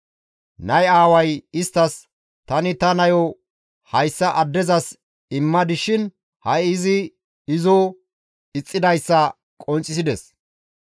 Nay aaway isttas, «Tani ta nayo hayssa addezas immadis shin ha7i izi izo ixxidayssa qonccisides.